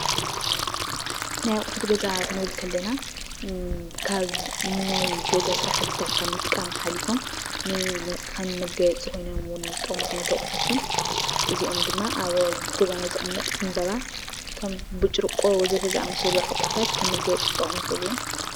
ናይ ኣቁሑት ገዛ ክንብል እንከለና ካብ ናይ ገዛ ስራሕትታት ንምጥቃም ሓሊፎም ንመጋየፂ ኮይኖም እውን ዝጠቅሙ ኣቁሑት እዮም። እዚኦም ድማ ኣብ ገዛና ዝቅመጡ ዕንበባ ከም ብጭርቆ ዝበሉ ኣቁሑታት ከም ገዛ መጋየፅታት ኮይኑ ክጠቅሙ ይክእሉ እዮም።